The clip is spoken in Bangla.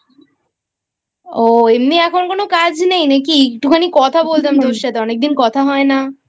ও এমনি এখন কোনো কাজ নেই নাকি? একটুখানি কথা বলতাম তোর সাথে অনেকদিন কথা হয় নাI